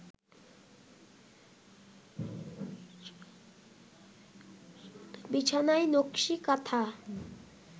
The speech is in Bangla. বিছানায় নকশি কাঁথা